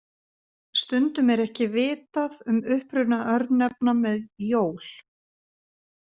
Stundum er ekki vitað um uppruna örnefna með -jól.